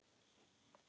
Ég sver að þetta.